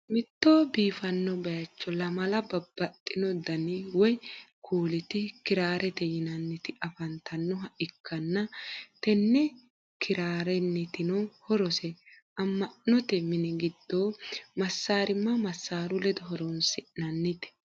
mitto biifanno bayicho lamala babaxinno danni woyi kuuliti kiraarete yinanniti afanitannoha ikanna tenne kirrenitinno horose ama'notte minni giddo masarima masaru ledo horonsi'nannite.